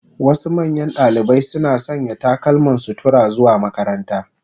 Wasu manyan dalibai suna sanya takalman sutura zuwa makaranta.